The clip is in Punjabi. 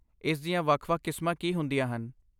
ਇਸ ਦੀਆਂ ਵੱਖ ਵੱਖ ਕਿਸਮਾਂ ਕੀ ਹੁੰਦੀਆਂ ਹਨ?